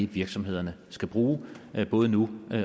virksomhederne skal bruge både nu